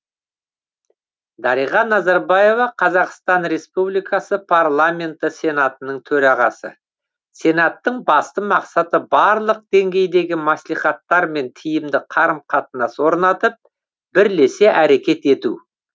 дариға назарбаева қазақстан республикасы парламенті сенатының төрағасы сенаттың басты мақсаты барлық деңгейдегі мәслихаттармен тиімді қарым қатынас орнатып бірлесе әрекет ету